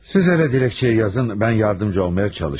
Siz elə diləkçəyi yazın, mən yardımcı olmağa çalışırım.